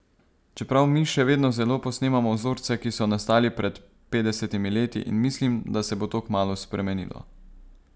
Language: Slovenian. Čeprav mi še vedno zelo posnemamo vzorce, ki so nastali pred petdesetimi leti in mislim, da se bo to kmalu spremenilo.